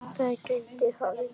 Það gæti hafa gerst.